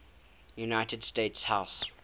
united states house